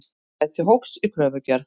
Gæti hófs í kröfugerð